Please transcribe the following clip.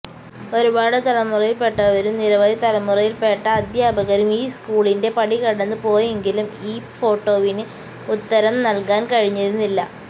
ഒരുപാട് തലമുറയില്പ്പെട്ടവരും നിരവധി തലമുറയില്പ്പെട്ട അധ്യാപകരും ഈ സ്കൂളിന്റെ പടികടന്ന് പോയെങ്കിലും ഈ ഫോട്ടോവിന് ഉത്തരം നല്കാന് കഴിഞ്ഞിരുനില്ല